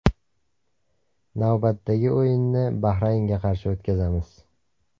Navbatdagi o‘yinni Bahraynga qarshi o‘tkazamiz.